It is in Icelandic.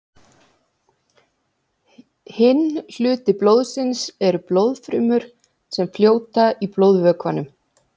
Hinn hluti blóðsins eru blóðfrumur sem fljóta í blóðvökvanum.